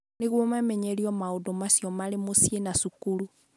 Nĩguo mamenyerio maũndũ macio marĩ mũciĩ na cukuru.